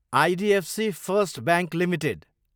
IDFC first bank Ltd